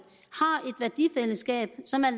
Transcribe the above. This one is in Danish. værdifællesskab som er